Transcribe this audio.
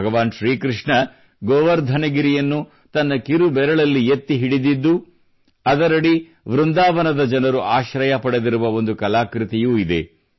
ಭಗವಾನ್ ಶ್ರೀಕೃಷ್ಣ ಗೋವರ್ಧನಗಿರಿಯನ್ನು ತನ್ನ ಕಿರುಬೆರಳಲ್ಲಿ ಎತ್ತಿ ಹಿಡಿದಿದ್ದು ಅದರಡಿ ವೃಂದಾವನದ ಜನರು ಆಶ್ರಯ ಪಡೆದಿರುವ ಒಂದು ಕಲಾಕೃತಿಯೂ ಇದೆ